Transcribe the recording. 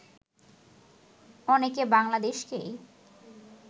অনেকে বাংলাদেশকেই